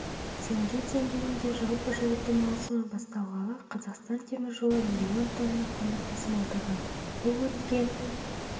теңге деңгейінде жалпы жылыту маусымы басталғалы қазақстан темір жолы миллион тонна көмір тасымалдаған бұл өткен